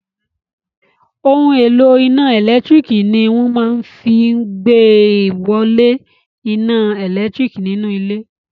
Ohun èlò iná ẹ̀lẹ́tírík ní wọ́n máa fí n ìgbéwolé iná ẹlẹtíríkì nínú ilé